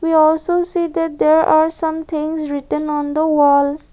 you also see that there are somethings written on the wall.